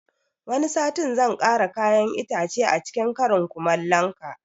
Wani satin zan kara kayan itace acikin karin kumalon ka